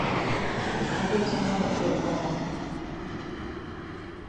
смотреть онлайн первый канал